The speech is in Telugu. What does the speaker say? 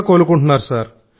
కూడా కోలుకుంటారు సార్